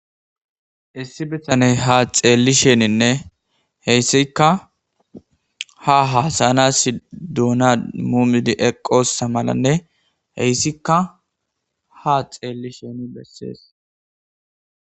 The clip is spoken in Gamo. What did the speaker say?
issi bitaney ha xeelli sheninne heyssikka ha hasayanas duuna mumidi eqqossa malanne heyssikka ha xeelli sheni bessees